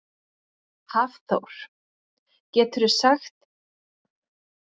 Hafþór: Geturðu gert þér grein fyrir út frá hverju hefur kviknað?